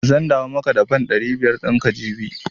Zan dawo maka da fan ɗari biyar ɗin ka jibi.